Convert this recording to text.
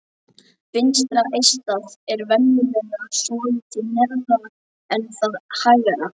Vinstra eistað er venjulega svolítið neðar en það hægra.